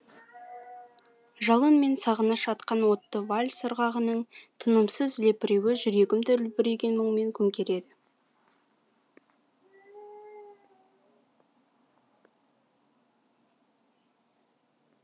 жалын мен сағыныш атқан отты вальс ырғағының тынымсыз лепіруі жүрегімді үлбіреген мұңмен көмкерді